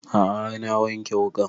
A'a har na wanke wuƙan